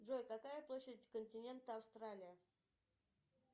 джой какая площадь континента австралия